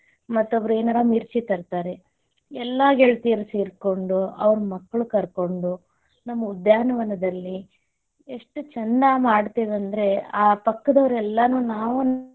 ಮತ್ತೊಬ್ಬರು ಏನಾರ ಮಿರ್ಚಿ ತರ್ತಾರೆ, ಎಲ್ಲಾ ಗೆಳತಿಯರೂ ಸೇರಕೊಂಡು ಅವರ ಮಕ್ಕಳ ಕರ್ಕೊಂಡು ನಮ್ಮ ಉದ್ಯಾನವನದಲ್ಲಿ ಎಷ್ಟು ಚೆಂದ ಮಾಡ್ತೇವಿ ಅಂದ್ರ ಆ ಪಕ್ಕದೋರ ಎಲ್ಲಾನು ನಾವು.